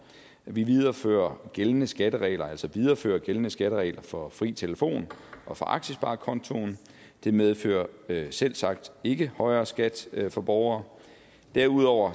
viderefører gældende skatteregler altså viderefører gældende skatteregler for fri telefon og for aktiesparekontoen det medfører selvsagt ikke højere skat for borgere derudover